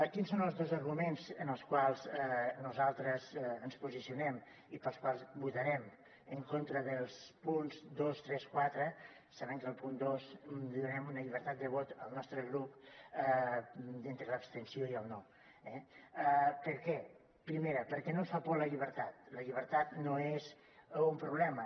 quins són els dos arguments en els quals nosaltres ens posicionem i pels quals votarem en contra dels punts dos tres quatre saben que al punt dos donarem una llibertat de vot al nostre grup d’entre l’abstenció i el no eh per què primera perquè no ens fa por la llibertat la llibertat no és un problema